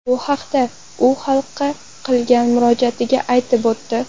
Bu haqda u xalqqa qilgan murojaatida aytib o‘tdi.